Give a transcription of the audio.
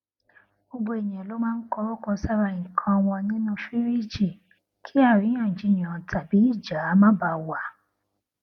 gbogbo ènìyàn ló máa ń kọrúkọ sára nǹkan wọn nínú fìríìjì kí àríyànjiyàn tabí ìjà má baà wà